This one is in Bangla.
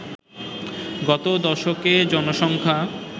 গত দশকে জনসংখ্যা